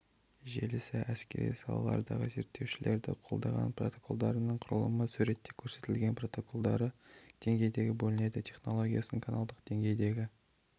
желісі әскери салалардағы зерттеушілерді қолдаған протоколдарының құрылымы суретте көрсетілген протоколдары деңгейге бөлінеді технологиясын каналдық деңгейдегі